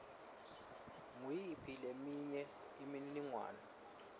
nguyiphi leminye imininingwane